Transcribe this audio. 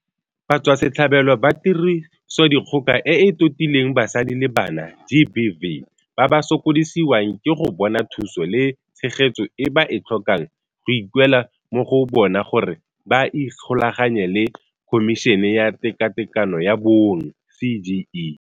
Batswasetlhabelo ba Tirisodikgoka e e Totileng Basadi le Bana GBV ba ba sokodisiwang ke go bona thuso le tshegetso e ba e tlhokang go ikuelwa mo go bona gore ba ikgolaganye le Khomišene ya Tekatekano ya Bong CGE.